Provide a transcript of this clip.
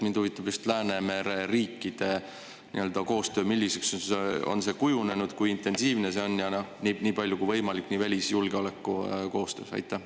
Mind huvitab just Läänemere riikide koostöö, milliseks see on kujunenud ja kui intensiivne see on, nii välis‑ kui ka julgeolekukoostöö.